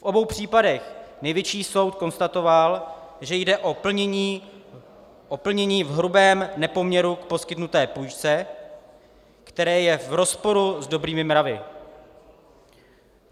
V obou případech Nejvyšší soud konstatoval, že jde o plnění v hrubém nepoměru k poskytnuté půjčce, které je v rozporu s dobrými mravy.